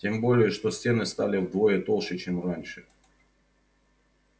тем более что стены стали вдвое толще чем раньше